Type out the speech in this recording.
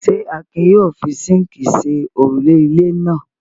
Ṣé Akin yóò fi síńkì ṣe òrùlé ilé náà?